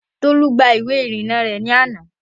Tolú gba ìwé ìrìnnà rẹ̀ ní àná